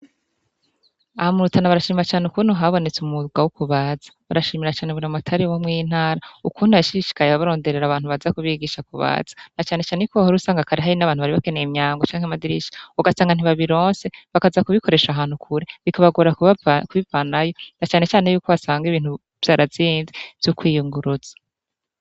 Aha mu Rutana barashima cane ukuntu habonetse umwuga wo kubaza. Barashimira cane buramatari wo mw'iyi ntara ukuntu yashishikaye abaronderera abantu baza kubigisha kubaza na cane cane yuko wahora usanga abantu bari bakeneye imyango canke amadirisha ugasanga ntibabironse, bakaza kubikoresha ahantu kure, bikabagore kubivanayo na cane cane yuko basanga ibintu vyarazimvye vyo kwiyunguruza.